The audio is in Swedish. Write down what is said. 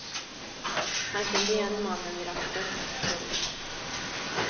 Han kände igen mannen vid ratten. punkt